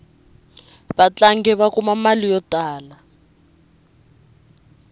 vatlangi va kuma mali yo tala